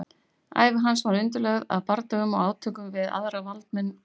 Ævi hans var undirlögð af bardögum og átökum við aðra valdamenn ríkisins.